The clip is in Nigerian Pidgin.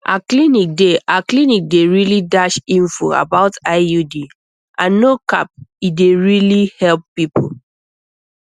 our clinic dey our clinic dey really dash info about iud and no cap e really dey help people